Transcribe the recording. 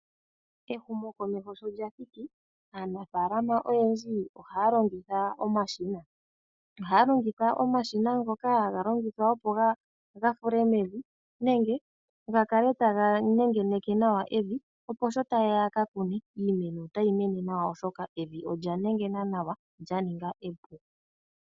Ehumokomeho sho lya thiki aanafalama oyendji ohaya longitha omashina. Ohaya longitha omashina ngoka haga longithwa, opo ga fule mevi nenge ga kale taga nengeneke nawa evi, opo sho ta yeya yaka kune iimeno otayi mene nawa, oshoka evi olya nengena nawa lyaninga epu.